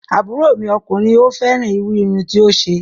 Àbúrò mi ọkùnrin ò fẹ́ràn irú irun tí ó ṣe